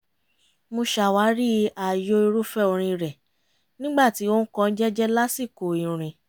mo ṣàwárí ààyò irúfẹ́ orin rẹ̀ nígbà tí ó ń kọ́ ọ jẹ́jẹ́ lásìkò ìrìn